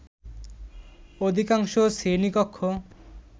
অধিকাংশ শ্রেণী কক্ষ